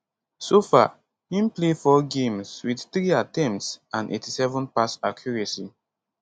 so far im play 4 games wit 3 attempts and 87 pass accuracy